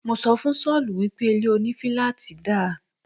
Mo sọ fún Sọ́ọ̀lù wípé ilé òní filaati dá